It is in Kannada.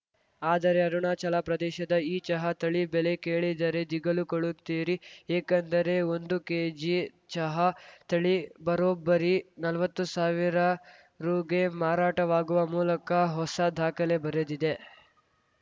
ಆದರೆ ಅರುಣಾಚಲಪ್ರದೇಶದ ಈ ಚಹಾ ತಳಿ ಬೆಲೆ ಕೇಳಿದರೇ ದಿಗಿಲುಗೊಳ್ಳುತ್ತೀರಿ ಏಕೆಂದರೆ ಒಂದು ಕೆಜಿ ಚಹಾ ತಳಿ ಬರೋಬ್ಬರಿ ನಲ್ವತ್ತು ಸಾವಿರ ರುಗೆ ಮಾರಾಟವಾಗುವ ಮೂಲಕ ಹೊಸ ದಾಖಲೆ ಬರೆದಿದೆ